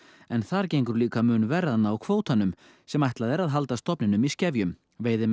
en þar gengur líka mun verr að ná kvótanum sem ætlað er halda stofninum í skefjum veiðimenn